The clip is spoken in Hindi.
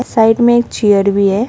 साइड में एक चेयर भी है।